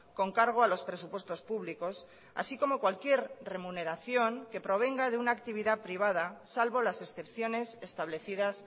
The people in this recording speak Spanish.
con cargo a los presupuestos públicos así como cualquier remuneración que provenga de una actividad privada salvo las excepciones establecidas